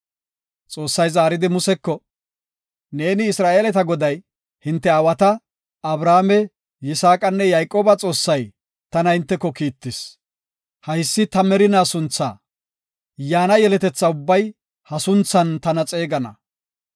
Xoossay zaaridi, “Neeni Isra7eeleta Goday hinte aawata, Abrahaame, Yisaaqanne Yayqooba Xoossay, tana hinteko kiittis. Haysi ta merina sunthaa; yaana yeletetha ubbay ha sunthan tana xeegana.